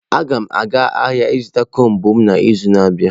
Agam aga ahia zuta combụ m n'izu na-abia.